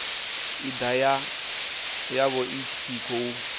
id yavho i tshi khou